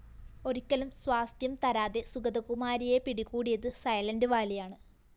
ഒരിക്കലും സ്വാസ്ഥ്യം തരാതെ സുഗതകുമാരിയെ പിടികൂടിയത് സൈലന്റ്‌വാലിയാണ്